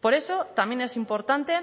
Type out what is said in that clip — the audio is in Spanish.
por eso también es importante